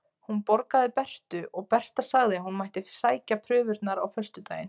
Hún borgaði Bertu og Berta sagði að hún mætti sækja prufurnar á föstudaginn.